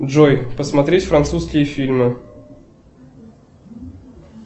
джой посмотреть французские фильмы